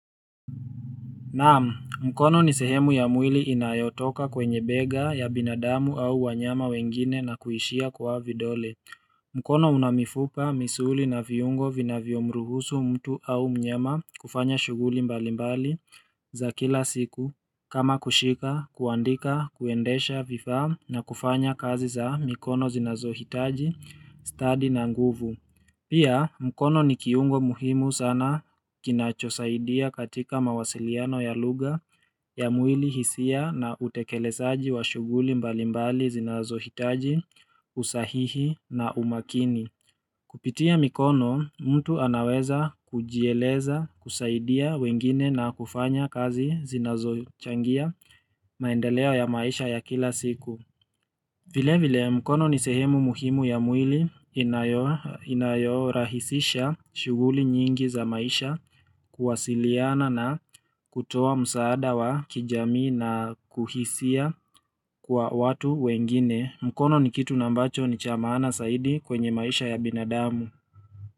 Naam, mkono ni sehemu ya mwili inayotoka kwenye bega ya binadamu au wanyama wengine na kuishia kwa vidole. Mkono una mifupa, misuli na viungo vinavyomruhusu mtu au mnyama kufanya shughuli mbalimbali za kila siku. Kama kushika, kuandika, kuendesha vifaa na kufanya kazi za mikono zinazohitaji, stadi na nguvu. Pia mkono ni kiungo muhimu sana kinachosaidia katika mawasiliano ya lugha ya mwili, hisia na utekelezaji wa shughuli mbalimbali zinazohitaji usahihi na umakini. Kupitia mikono, mtu anaweza kujieleza kusaidia wengine na kufanya kazi zinazochangia maendeleo ya maisha ya kila siku. Vile vile mkono ni sehemu muhimu ya mwili inayorahisisha shughuli nyingi za maisha kuwasiliana na kutoa msaada wa kijamii na kuhisia kwa watu wengine. Mkono ni kitu na ambacho ni cha maana zaidi kwenye maisha ya binadamu.